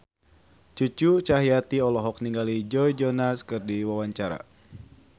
Cucu Cahyati olohok ningali Joe Jonas keur diwawancara